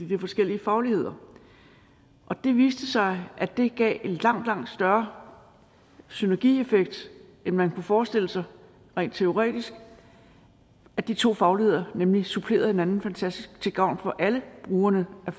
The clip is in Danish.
de har forskellige fagligheder det viste sig at det gav langt langt større synergieffekt end man kunne forestille sig rent teoretisk at de to fagligheder nemlig supplerede hinanden fantastisk til gavn for alle brugerne af